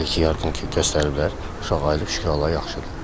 Elə ki, yardım göstəriblər, uşaq ayılıb şükür Allaha, yaxşıdır.